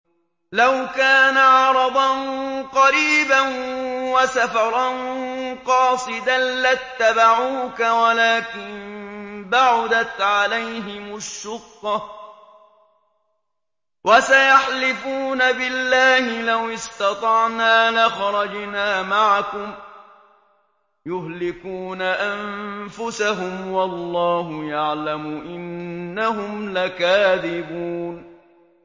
لَوْ كَانَ عَرَضًا قَرِيبًا وَسَفَرًا قَاصِدًا لَّاتَّبَعُوكَ وَلَٰكِن بَعُدَتْ عَلَيْهِمُ الشُّقَّةُ ۚ وَسَيَحْلِفُونَ بِاللَّهِ لَوِ اسْتَطَعْنَا لَخَرَجْنَا مَعَكُمْ يُهْلِكُونَ أَنفُسَهُمْ وَاللَّهُ يَعْلَمُ إِنَّهُمْ لَكَاذِبُونَ